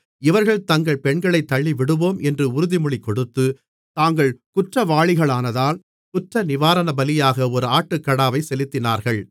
இவர்கள் தங்கள் பெண்களைத் தள்ளிவிடுவோம் என்று உறுதிமொழி கொடுத்து தாங்கள் குற்றவாளிகளானதால் குற்றநிவாரணபலியாக ஒரு ஆட்டுக்கடாவைச் செலுத்தினார்கள்